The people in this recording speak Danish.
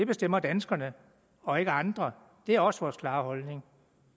bestemmer danskerne og ikke andre det er også vores klare holdning